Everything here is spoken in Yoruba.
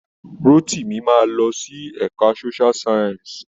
Rótìmí máa lọ sí ẹ̀ka Social science.